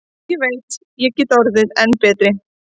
Ég veit ég get orðið enn betri.